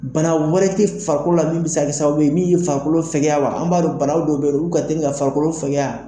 Bana wɛrɛ tɛ farakolo la min bɛ se ka sababuye min bɛ farikolo fɛkɛya wa, an b'a don bana dɔw bɛ ye nɔ olu ka teli ka farikolo fɛkɛya.